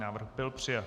Návrh byl přijat.